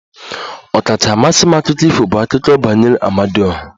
Ọkacha mmasị m akụkọ ifo bụ akụkọ banyere Amadioha